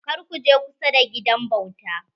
Kar ku je kusa da gidan bauta.